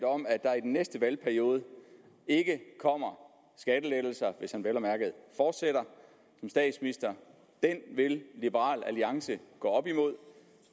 om at der i næste valgperiode ikke kommer skattelettelser hvis han vel at mærke fortsætter som statsminister vil liberal alliance gå op imod